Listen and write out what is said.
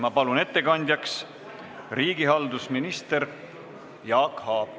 Ma palun ettekandjaks riigihalduse ministri Jaak Aabi!